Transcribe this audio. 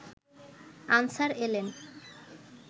answer এলেন